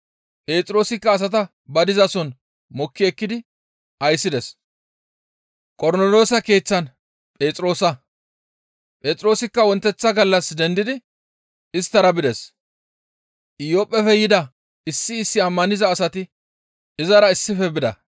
Phexroosikka asata ba dizason mokki ekkidi ayssides. Qornoloosa Keeththan Phexroosa Phexroosikka wonteththa gallas dendidi isttara bides; Iyophphefe yida issi issi ammaniza asati izara issife bida.